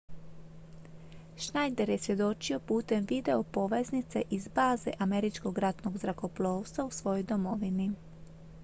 schneider je svjedočio putem videopoveznice iz baze američkog ratnog zrakoplovstva u svojoj domovini